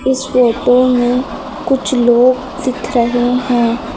इस फोटो में कुछ लोग दिख रहे हैं।